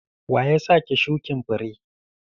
Wa ya sa ki shukin fure?